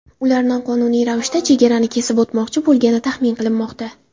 Ular noqonuniy ravishda chegarani kesib o‘tmoqchi bo‘lgani taxmin qilinmoqda.